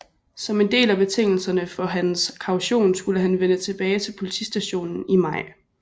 Som en del af betingelserne for hans kaution skulle han vende tilbage til politistationen i maj